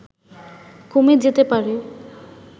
কমে যেতে পারে